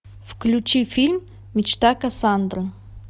включи фильм мечта кассандры